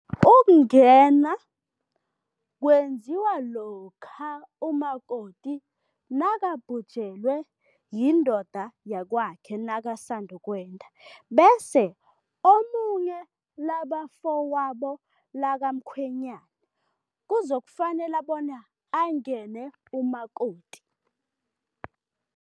Ukungena kwenziwa lokha umakoti nakabhujelwe yindoda yakwakhe nakasanda ukwenda, bese omunye labafowabo likamkhwenyana kuzokufanele bona angene umakoti.